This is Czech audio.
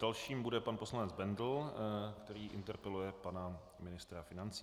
Dalším bude pan poslanec Bendl, který interpeluje pana ministra financí.